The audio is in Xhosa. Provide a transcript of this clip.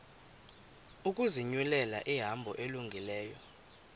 ukuzinyulela ihambo elungileyo